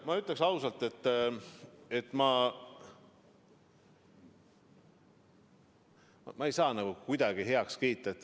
Ma ütlen ausalt, et ma ei saa seda kuidagi heaks kiita.